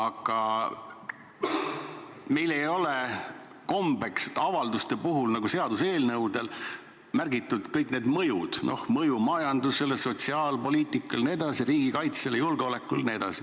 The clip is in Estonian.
Aga meil ei ole kombeks, et avalduste puhul on nagu seaduseelnõudel märgitud ära kõik need mõjud – mõju majandusele, sotsiaalpoliitikale, riigikaitsele, julgeolekule jne.